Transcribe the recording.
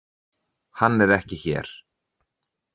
Hann er ekki hér.